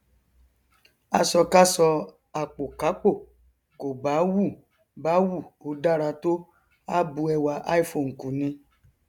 aṣọkáṣọ àpòkápò kò bá wù bá wù ó dára tó á bu ẹwà iphone kù ni